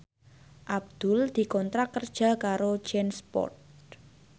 Abdul dikontrak kerja karo Jansport